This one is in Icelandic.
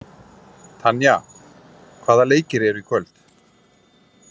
Tanja, hvaða leikir eru í kvöld?